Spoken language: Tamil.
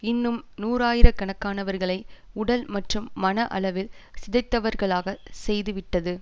இன்னும் நூறாயிரக்கணக்கானவர்களை உடல் மற்றும் மன அளவில் சிதைந்தவர்களாக செய்துவிட்டது